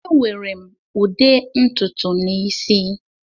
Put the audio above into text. Ewere m ude ntutu n'isi.